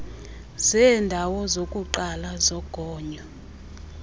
zeendawo zokuqala zogonyo